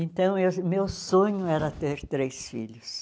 Então, eu meu sonho era ter três filhos.